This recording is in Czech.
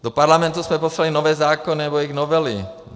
Do Parlamentu jsme poslali nové zákony nebo jejich novely.